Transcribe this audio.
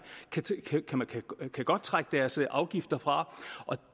kan godt trække deres afgifter fra og